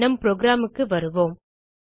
நம் programக்கு வருவோம்